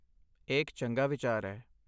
ਇਹ ਇੱਕ ਚੰਗਾ ਵਿਚਾਰ ਹੈ।